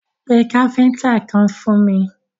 Pé káfíntà kan fún mi!